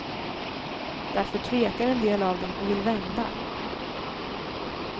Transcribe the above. Därför tvekar en del av dem och vill vända.